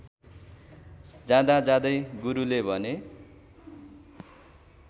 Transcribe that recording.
जाँदाजाँदै गुरुले भने